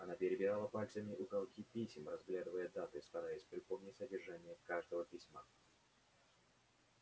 она перебирала пальцами уголки писем разглядывая даты стараясь припомнить содержание каждого письма